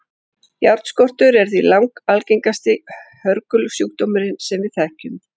járnskortur er því langalgengasti hörgulsjúkdómurinn sem við þekkjum